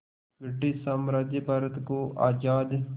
British साम्राज्य भारत को आज़ाद